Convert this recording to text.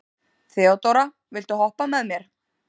Þeódóra, viltu hoppa með mér?